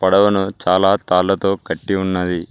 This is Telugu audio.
పడవను చాలా తాళ్లతో కట్టి ఉన్నది.